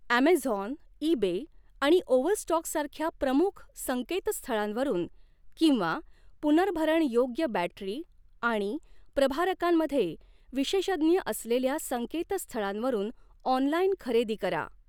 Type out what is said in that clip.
Amazon, eBay आणि ओव्हरस्टॉकसारख्या प्रमुख संकेतस्थळांवरून किंवा पुनर्भरणयोग्य बॅटरी आणि प्रभारकांमध्ये विशेषज्ञ असलेल्या संकेतस्थळांवरून ऑनलाईन खरेदी करा.